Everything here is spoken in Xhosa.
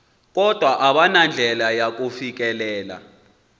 kodwa abanandlela yakufikelela